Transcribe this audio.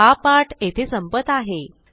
हा पाठ येथे संपत आहे